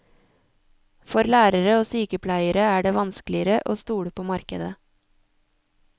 For lærere og sykepleiere er det vanskeligere å stole på markedet.